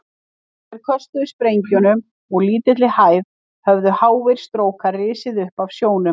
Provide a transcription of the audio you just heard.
Þegar þeir köstuðu sprengjum úr lítilli hæð, höfðu háir strókar risið upp af sjónum.